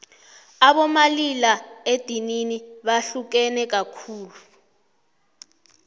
abomalila edinini bahlukene kakhulu